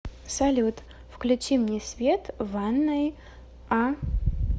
салют включи мне свет в ванной а